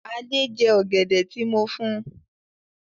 Adé jẹ́ ọ̀gẹ̀dẹ̀ tí mo fún.